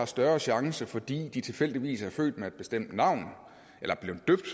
større chance fordi de tilfældigvis er født med et bestemt navn